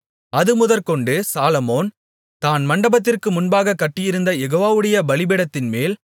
அதுமுதற்கொண்டு Solomon தான் மண்டபத்திற்கு முன்பாகக் கட்டியிருந்த யெகோவாவுடைய பலிபீடத்தின்மேல்